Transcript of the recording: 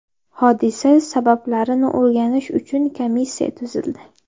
Hodisa sabablarini o‘rganish uchun komissiya tuzildi.